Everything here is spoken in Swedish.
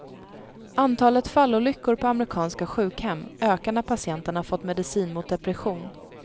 Antalet fallolyckor på amerikanska sjukhem ökar när patienterna fått medicin mot depression.